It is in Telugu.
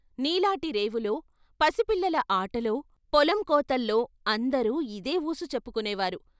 నీలాటి రేవుల, పసి పిల్లల ఆటలో పొలం కోతల్లో అందరూ ఇదే ఊసు చెప్పుకొనే వారు.